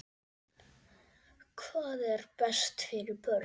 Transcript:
Hvað er best fyrir börnin?